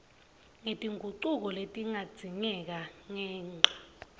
ngetingucuko letingadzingeka ngenca